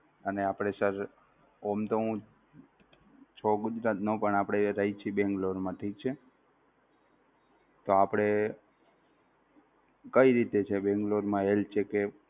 અને આપણે sir એમ તો હું છું ગુજરાતનો પણ આપણે રહીએ છીએ બેંગ્લોરમાં ઠીક છે, તો આપણે કઈ રીતે છે બેંગલોરમાં health checkup?